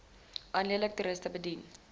alleenlik toeriste bedien